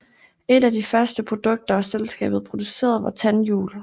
Et af de første produkter selskabet producerede var tandhjul